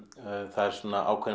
það er svona ákveðin